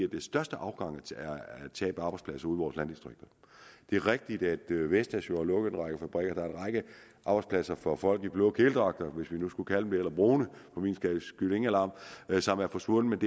det største tab af arbejdspladser vores landdistrikter det er rigtigt at vestas jo har lukket en række fabrikker der er en række arbejdspladser for folk i blå kedeldragter hvis man nu skulle kalde dem brune for min skyld ingen alarm som er forsvundet